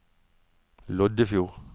Loddefjord